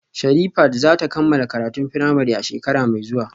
Sherifat za ta kammala karatun firamare a shekara mai zuwa